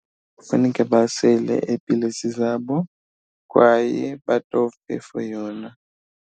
Kufuneka basele iipilisi zabo kwaye batofe for yona.